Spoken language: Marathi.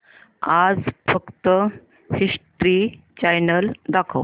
आज फक्त हिस्ट्री चॅनल दाखव